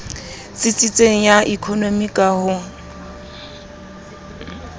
tsitsitseng ya ekonomi ka ho